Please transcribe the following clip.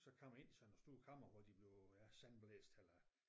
Så kom ind i sådan et stort kammer hvor de blev ja sandblæst eller